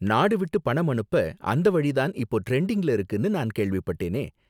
நாடு விட்டு பணம் அனுப்ப அந்த வழி தான் இப்போ டிரெண்டிங்ல இருக்குனு நான் கேள்விப்பட்டேனே